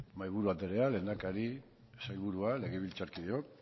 mahaiburu anderea lehendakari sailburua legebiltzarkideok